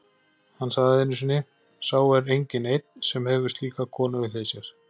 Hann sagði einu sinni: Sá er enginn einn, sem hefur slíka konu við hlið sér